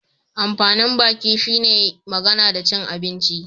Amfanin baki shi ne magana da cin abinci